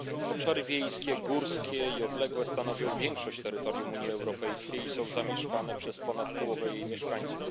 Obszary wiejskie, górskie i odległe stanowią większość terytorium Unii Europejskiej i są zamieszkane przez ponad połowę jej mieszkańców.